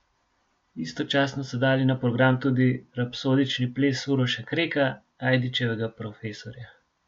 Istočasno so dali na program tudi Rapsodični ples Uroša Kreka, Ajdičevega profesorja.